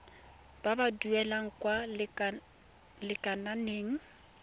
ba ba duelang kwa lekaleng